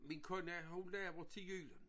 Min kone hun laver til jul